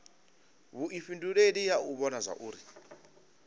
vhuifhinduleli ha u vhona zwauri